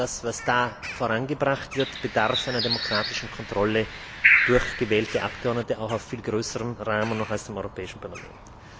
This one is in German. Aber das, was da vorangebracht wird, bedarf einer demokratischen Kontrolle durch gewählte Abgeordnete in einem noch viel größeren Rahmen als dem Europäischen Parlament.